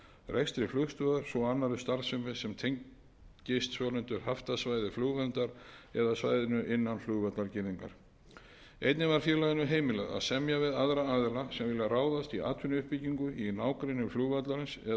sem tengist svonefndu haftasvæði flugverndar eða svæðinu innan flugvallargirðingar einnig var félaginu heimilað að semja við aðra aðila sem vilja ráðast í atvinnuuppbyggingu í nágrenni flugvallarins eða gerast